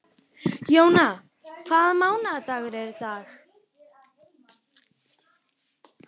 Jóanna, hvaða mánaðardagur er í dag?